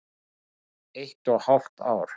Eitt og hálft ár.